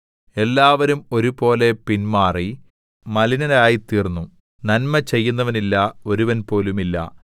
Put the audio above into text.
എല്ലാവരും ഒരുപോലെ പിൻമാറി മലിനരായിത്തീർന്നു നന്മ ചെയ്യുന്നവനില്ല ഒരുവൻപോലും ഇല്ല